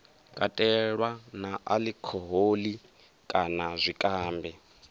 katelwa na alikhoholi kana zwikambi